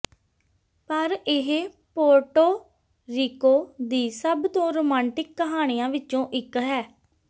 ਪਰ ਇਹ Puerto Rico ਦੀ ਸਭ ਤੋਂ ਰੋਮਾਂਟਿਕ ਕਹਾਣੀਆਂ ਵਿੱਚੋਂ ਇੱਕ ਹੈ